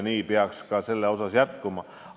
Nii peaks see ka jätkuma.